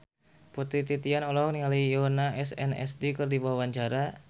Putri Titian olohok ningali Yoona SNSD keur diwawancara